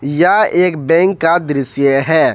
या एक बैंक का दृश्य है।